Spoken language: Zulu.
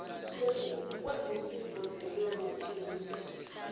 kwezimpiko zenyoni enemilenze